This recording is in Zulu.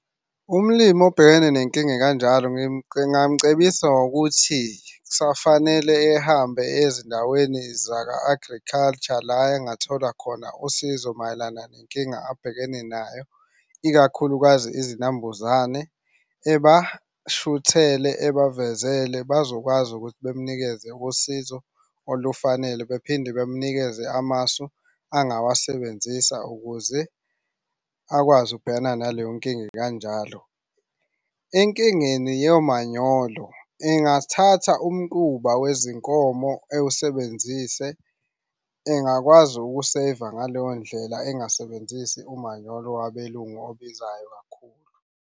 Umlimi obhekene nenkinga ekanjalo ngingamcebisa ngokuthi kusafanele ehambe ezindaweni zaka-agriculture. La engathola khona usizo mayelana nenkinga abhekene nayo, ikakhulukazi izinambuzane. Ebashuthele, ebavezele bazokwazi ukuthi bemnikeze usizo olufanele bephinde bemnikeze amasu angawasebenzisa ukuze akwazi ukubhekana naleyo nkinga ekanjalo. Enkingeni yomanyolo engathatha umquba wezinkomo ewusebenzise. Engakwazi uku-save-a ngaleyo ndlela engasebenzisi umanyolo wabelungu obizayo kakhulu.